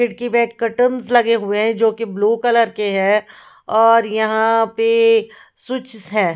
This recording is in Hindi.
खिड़की पे कर्टंस लगे हुए हैं जोकि ब्लू कलर के हैं और यहाँ पे स्विचेस हैं।